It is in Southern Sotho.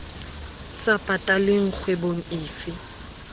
sa pataleng kgwebong e fe